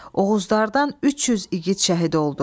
Oğuzlardan 300 igid şəhid oldu.